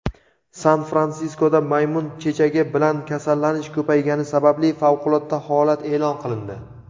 San-Fransiskoda maymun chechagi bilan kasallanish ko‘paygani sababli favqulodda holat eʼlon qilindi.